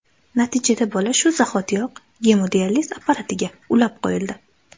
Natijada bola shu zahotiyoq gemodializ apparatiga ulab qo‘yildi.